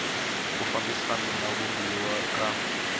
ku fambisana na vumbiwa ka